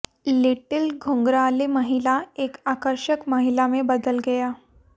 little घुंघराले महिला एक आकर्षक महिला में बदल गया